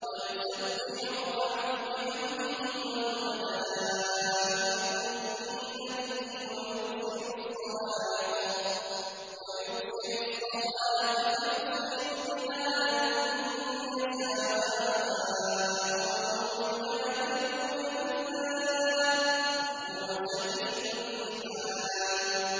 وَيُسَبِّحُ الرَّعْدُ بِحَمْدِهِ وَالْمَلَائِكَةُ مِنْ خِيفَتِهِ وَيُرْسِلُ الصَّوَاعِقَ فَيُصِيبُ بِهَا مَن يَشَاءُ وَهُمْ يُجَادِلُونَ فِي اللَّهِ وَهُوَ شَدِيدُ الْمِحَالِ